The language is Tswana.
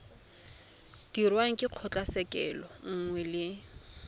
dirwang ke kgotlatshekelo nngwe le